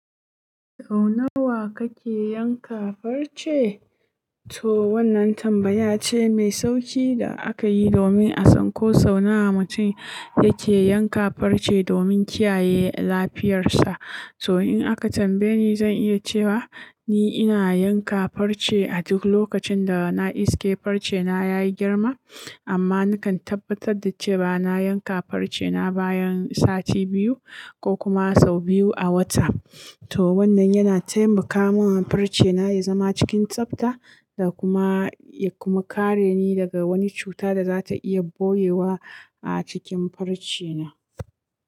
"Sau nawa kake yanka farce?" To wannan tambaya ce mai sauƙi da aka yi domin a san ko sau nawa mutum yake yanka farce domin kiyaye lafiyarsa. To in aka tambaye ni, zan iya cewa ni ina yanka farce a duk lokacin da na iske farce na ya yi girma. Amma nakan tabbatar da cewa bana yanka farce na bayan sati biyu ko kuma sau biyu a wata. To wannan yana taimaka min farce na ya zama cikin tsabta da kuma, ya kuma kare ni daga wani cuta da za ta iya boyewa a cikin farce na.